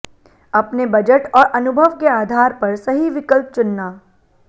अपने बजट और अनुभव के आधार पर सही विकल्प चुनना